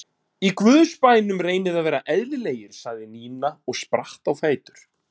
Í Guðs bænum reynið að vera eðlilegir sagði Nína og spratt á fætur.